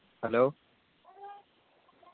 M hello